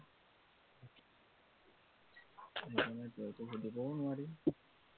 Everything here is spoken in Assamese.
আৰু তেনেকে সুধিবও নোৱাৰি